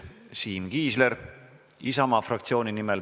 Siim Kiisler Isamaa fraktsiooni nimel.